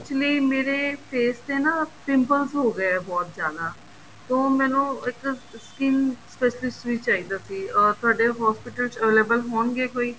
actually ਮੇਰੇ face ਤੇ ਨਾ pimples ਹੋ ਗਏ ਹੈ ਬਹੁਤ ਜਿਆਦਾ ਤਾਂ ਉਹ ਮੈਨੂੰ ਇੱਕ skin specialist ਵੀ ਚਾਹੀਦਾ ਸੀ ਤੁਹਾਡੇ hospital ਵਿੱਚ available ਹੋਣਗੇ ਕੋਈ